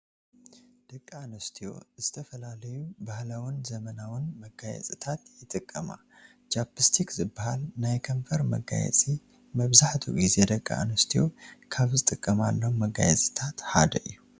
ደቂ ኣንስትዮ ዝተፈላለዩ ባህላውን ዘመናውን መጋየፅታት ይጥቀማ፡፡ ቻፕ ስቲክ ዝበሃል ናይ ከንፈር መጋየፂ መብዛሕትኡ ግዜ ደቂ ኣንስትዮ ካብ ዝጠቀማሎም መጋየፅታት ሓደ እዩ፡፡